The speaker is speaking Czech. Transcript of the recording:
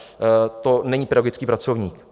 To není pedagogický pracovník.